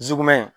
Jukun